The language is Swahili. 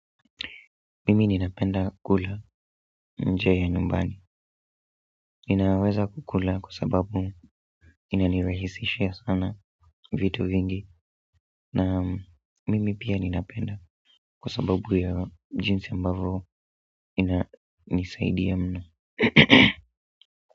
Mimi ninapenda kula nje ya nyumbani. Ninaweza kukula kwa sababu inanirahisishia sana vitu vingi. Na mimi pia ninapenda kwa sababu ya jinsi ambavo ina nisaidia mno.